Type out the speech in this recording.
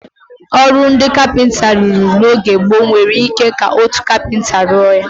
Ọrụ ndị kapịnta iri rụrụ n'oge gboo, nwere ike ka otu kapịnta rụọ ya.